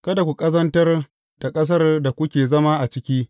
Kada ku ƙazantar da ƙasar da kuke zama a ciki.